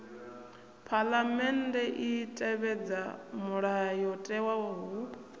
phaḽamennde i tevhedza mulayotewa hu